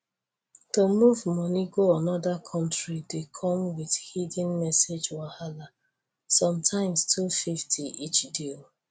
to move money go another country dey come with hidden message wahala sometimes 250 each deal